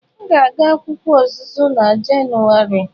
M ga-aga akwụkwọ ọzụzụ na Jenụwarị.